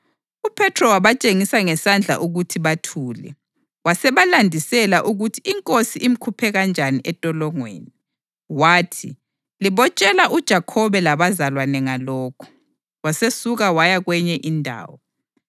UPhethro wabatshengisa ngesandla ukuthi bathule, wasebalandisela ukuthi iNkosi imkhuphe kanjani entolongweni. Wathi, “Libotshela uJakhobe labazalwane ngalokhu.” Wasesuka waya kwenye indawo.